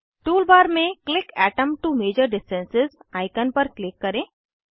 tool bar में click atom to measure distance icon पर click करें